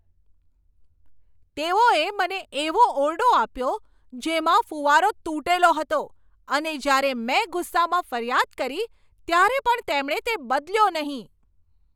તેઓએ મને એવો ઓરડો આપ્યો જેમાં ફૂવારો તૂટેલો હતો, અને જ્યારે મેં ગુસ્સામાં ફરિયાદ કરી ત્યારે પણ તેમણે તે બદલ્યો નહીં.